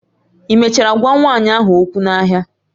Ị mechara gwa nwanyị ahụ okwu n'ahịa?